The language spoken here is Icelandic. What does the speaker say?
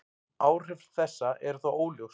Áhrif þessa eru þó óljós.